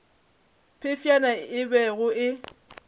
phefšana ye e bego e